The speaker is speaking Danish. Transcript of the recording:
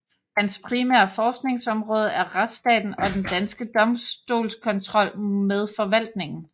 Hans primære forskningsområde er retsstaten og den danske domstolskontrol med forvaltningen